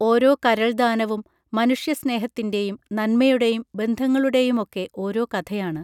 ഓരോ കരൾദാനവും മനുഷ്യസ്നേഹത്തിൻറെയും നന്മയുടെയും ബന്ധങ്ങളുടെയുമൊക്കെ ഓരോ കഥയാണ്